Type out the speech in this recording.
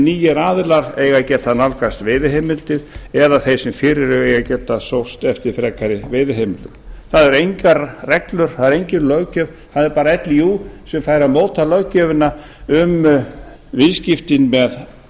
nýir aðilar eigi að geta nálgast veiðiheimildir eða þeir sem fyrir eru eiga að geta sóst eftir frekari veiðiheimildum það eru engar reglur það er engin löggjöf það er bara líú sem fær að móta löggjöfina um viðskiptin með